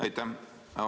Aitäh!